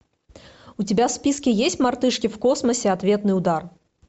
у тебя в списке есть мартышки в космосе ответный удар